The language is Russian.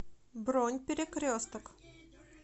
бронь перекресток